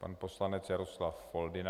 Pan poslanec Jaroslav Foldyna.